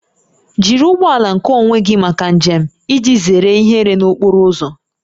Jiri ụgbọ ala nkeonwe gị maka njem iji zere ihere n'okporo ụzọ